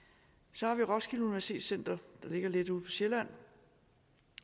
så har vi roskilde universitet der ligger lidt ude på sjælland